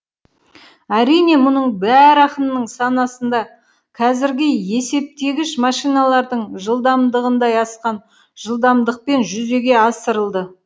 әрине мұның бәрі ақынның санасында қазіргі есептегіш машиналардың жылдамдығындай асқан жылдамдықпен жүзеге асырылды